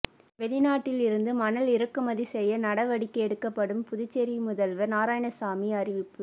வெளிநாட்டில் இருந்து மணல் இறக்குமதி செய்ய நடவடிக்கை எடுக்கப்படும் புதுச்சேரி முதல்வர் நாராயணசாமி அறிவிப்பு